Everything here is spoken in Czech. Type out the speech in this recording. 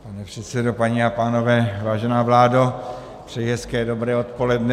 Pane předsedo, paní a pánové, vážená vládo, přeji hezké dobré odpoledne.